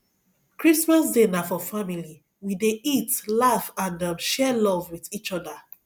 christmas day na for family we dey eat laugh and um share love wit each oda